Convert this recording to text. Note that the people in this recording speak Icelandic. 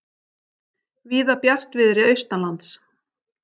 Víða bjartviðri austanlands